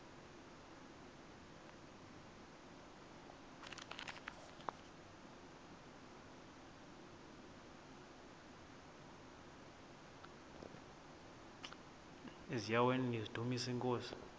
eziaweni nizidumis iinkosi